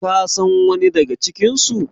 kasan wani daga cikinsu?